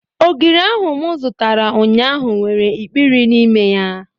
Ogiri ahu mụ zụtara ụnyaahụ nwere ikpiri n'ime ya